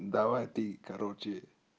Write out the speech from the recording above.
давай ты короче